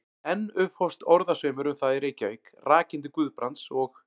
Enn upphófst orðasveimur um það í Reykjavík, rakinn til Guðbrands og